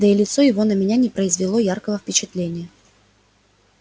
да и лицо его на меня не произвело яркого впечатления